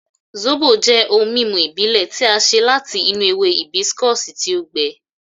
Sóbò jẹ́ ohun mímu ìbílẹ̀ tí a ṣe láti inú ewe hìbísíkọ̀sì tí ó gbẹ.